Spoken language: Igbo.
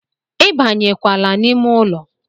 ibanyekwala n'ime ụlọ